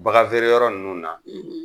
Bagan vere yɔrɔ nunnu na